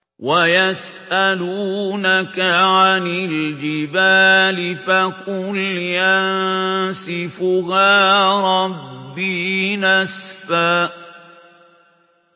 وَيَسْأَلُونَكَ عَنِ الْجِبَالِ فَقُلْ يَنسِفُهَا رَبِّي نَسْفًا